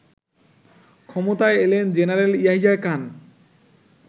ক্ষমতায় এলেন জেনারেল ইয়াহিয়া খান